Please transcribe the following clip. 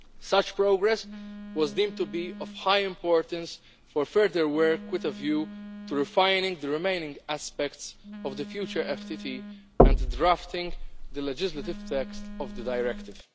Such progress was deemed to be of high importance for further work with a view to refining the remaining aspects of the future FTT and drafting the legislative text of the directive.